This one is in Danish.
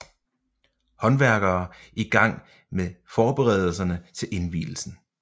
Håndværkere i gang med forberedelserne til indvielsen